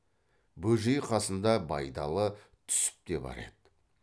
бөжей қасында байдалы түсіп те бар еді